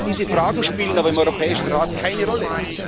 Diese Fragen spielen aber im Europäischen Rat keine Rolle.